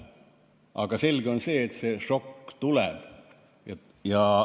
Aga selge on see, et see šokk tuleb.